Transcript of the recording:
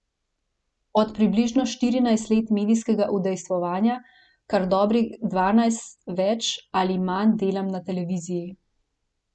Od približno štirinajstih let medijskega udejstvovanja kar dobrih dvanajst več ali manj delam na televiziji.